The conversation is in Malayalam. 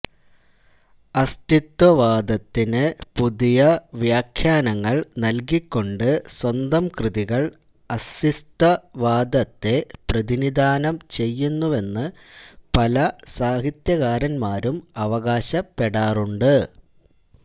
അസ്തിത്വവാദത്തിനു പുതിയ വ്യാഖ്യാനങ്ങൾ നല്കിക്കൊണ്ട് സ്വന്തം കൃതികൾ അസ്തിത്വവാദത്തെ പ്രതിനിധാനം ചെയ്യുന്നുവെന്നു പല സാഹിത്യകാരന്മാരും അവകാശപ്പെടാറുണ്ട്